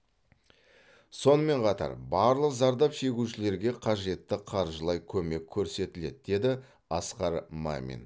сонымен қатар барлық зардап шегушілерге қажетті қаржылай көмек көрсетіледі деді асқар мамин